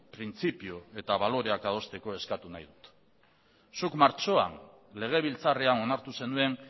printzipio eta baloreak adosteko eskatu nahi dut zuk martxoan legebiltzarrean onartu zenuen